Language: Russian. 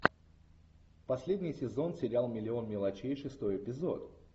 последний сезон сериал миллион мелочей шестой эпизод